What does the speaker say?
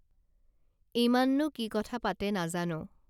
ইমাননো কি কথা পাতে নাজানো